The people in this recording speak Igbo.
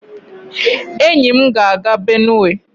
enyi m ga-aga Benue